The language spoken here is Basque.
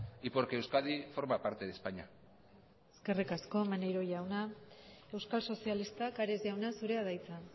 y porque euskadi forma parte de españa eskerrik asko maneiro jauna euskal sozialistak ares jauna zurea da hitza